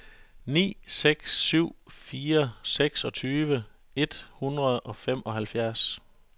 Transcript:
ni seks syv fire seksogtyve et hundrede og femoghalvtreds